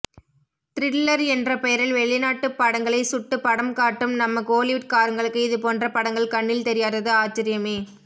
thriller என்ற பெயரில் வெளிநாட்டு படங்களை சுட்டு படம்காட்டும் நம்ம கோலிவுட்காரங்களுக்கு இதுபோன்ற படங்கள் கண்ணில் தெரியாதது ஆச்சரியமே